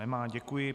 Nemá, děkuji.